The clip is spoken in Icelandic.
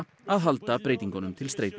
að halda breytingunum til streitu